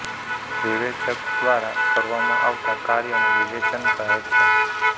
વિવેચક દ્વારા કરવામાં આવતા કાર્યને વિવેચન કહે છે